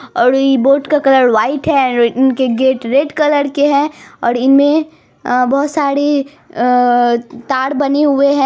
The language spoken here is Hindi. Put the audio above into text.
और इ बोट का कलर वाइट है इनके गेट रेड कलर के है और इनमें अ बोहोत सारी अ तर बनी हुए है।